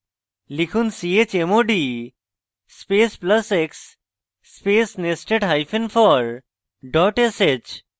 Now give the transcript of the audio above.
লিখুন chmod space plus x space nested hyphen for dot sh